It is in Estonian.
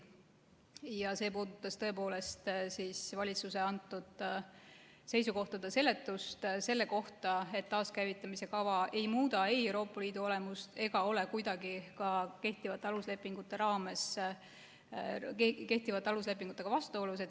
Ja see puudutas tõepoolest valitsuse antud seisukohtade seletust selle kohta, et taaskäivitamise kava ei muuda ei Euroopa Liidu olemust ega ole kuidagi ka kehtivate aluslepingutega vastuolus.